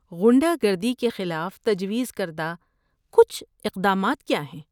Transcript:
غنڈہ گردی کے خلاف تجویز کردہ کچھ اقدامات کیا ہیں؟